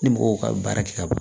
Ni mɔgɔw ka baara kɛ ka ban